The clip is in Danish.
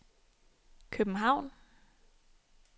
København